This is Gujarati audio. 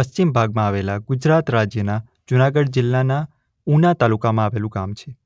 પશ્ચિમ ભાગમાં આવેલા ગુજરાત રાજ્યના જૂનાગઢ જિલ્લાના ઉના તાલુકામાં આવેલું ગામ છે.